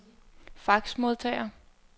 faxmodtager